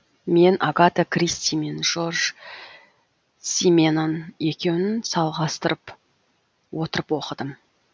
мен агата кристи мен жорж сименон екеуін салғастырып отырып оқыдым